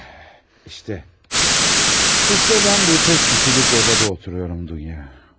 İşte, işte mən bu tək kişilik otaqda otururam, Dunya.